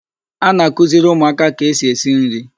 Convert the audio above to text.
A na-kụziri ụmụaka ka esi esi nri.